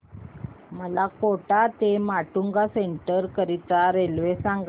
मला कोटा ते माटुंगा सेंट्रल करीता रेल्वे सांगा